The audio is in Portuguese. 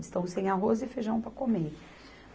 Eles estão sem arroz e feijão para comer.